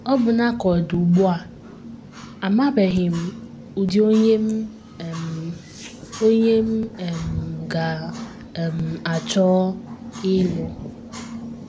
Ọbụna ka ọ dị ugbu um a, amabeghị m ụdị onye m um onye m um ga - um achọ ịlụ.